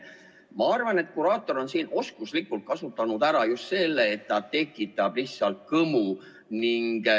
Ma arvan, et kuraator on siin oskuslikult kasutanud ära just selle, et ta tekitab lihtsalt kõmu.